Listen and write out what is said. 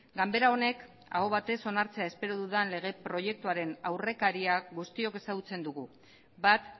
ganbera honek aho batez onartzea espero dudan lege proiektuaren aurrekaria guztiok ezagutzen dugu bat